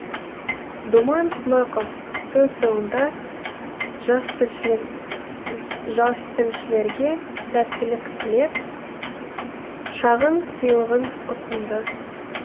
думан смақов сөз соңында жастілшілерге сәттілік тілеп шағын сыйлығын ұсынды